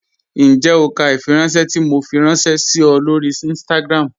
Ǹjẹ́ o kà ifìrànṣẹ̀ tó Mò fí rànṣẹ sí ọ̀ lọ́rí Instagram?